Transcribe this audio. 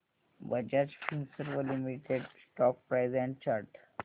Bajaj Finserv limited stock price and chart